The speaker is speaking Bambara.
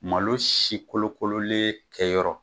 Malo si kolokololen kɛyɔrɔ.